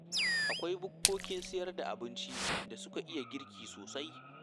Akwai bukkokin sayar da abincin da suka iya girki sosai.